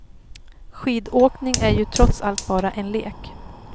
Skidåkning är ju trots allt bara en lek.